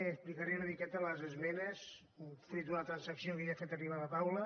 explicaré una miqueta les esmenes fruit d’una transacció que ja he fet arribar a la taula